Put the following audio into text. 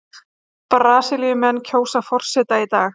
Brasilíumenn kjósa forseta í dag